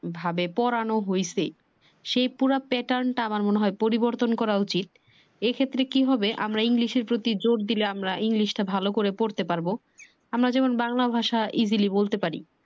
ভাবে পোড়ানো হয়েছে সে পুরা পেটান টা আমার মনে হয় পরিবর্তন করা উচিত। এ ক্ষেত্রে কি হবে আমরা english এর প্রতি জোর দিলে আমার english টা ভালো ভাবে শিখতে পারবো। আমরা যেমন বাংলা ভাষা easily বলতে পারি।